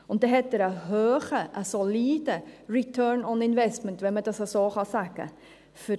Dann hat er einen hohen, soliden Return on Investment, wenn man dies so sagen kann.